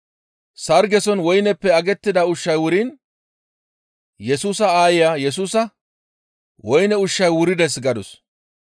Sargezason woyneppe agettida ushshay wuriin Yesusa aaya Yesusa, «Woyne ushshay wurides» gadus.